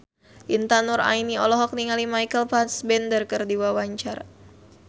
Intan Nuraini olohok ningali Michael Fassbender keur diwawancara